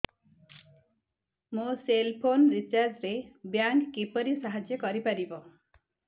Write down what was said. ମୋ cell phone recharge ରେ bank କିପରି ସାହାଯ୍ୟ କରିପାରିବ